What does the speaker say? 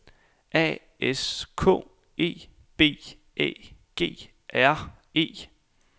A S K E B Æ G R E